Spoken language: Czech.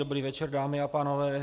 Dobrý večer, dámy a pánové.